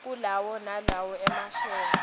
kulawo nalowo emasheya